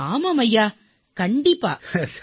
ஆமாம் கண்டிப்பாக ஆமாம் ஐயா